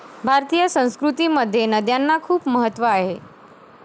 भारतीय संस्कृतीमध्ये नद्यांना खुप महत्व आहे.